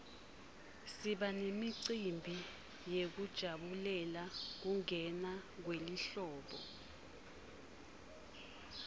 siba nemicimbi yekujabulela kungena kwelihlobo